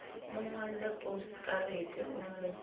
mo ngolle posekarete o mo